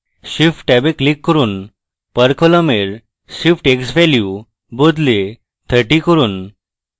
shift ট্যাবে click করুন per column এর shift x value বদলে 30 করুন